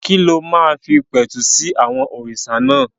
Kí ló máa fi pẹ̀tù sí àwọn òrìṣà náà?